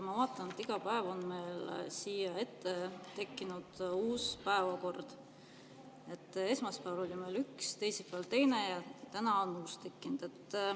Ma vaatan, et iga päev on siia meie ette tekkinud uus päevakord: esmaspäeval oli meil üks, teisipäeval teine ja täna on uus tekkinud.